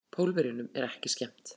Pólverjunum er ekki skemmt.